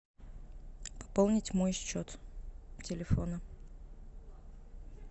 пополнить мой счет телефона